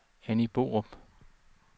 Anni Borup